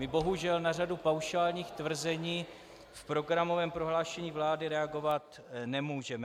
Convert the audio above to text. My bohužel na řadu paušálních tvrzení v programovém prohlášení vlády reagovat nemůžeme.